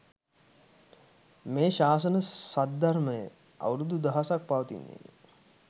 මේ ශාසන සද්ධර්මය අවුරුදු දහසක් පවතින්නේ ය.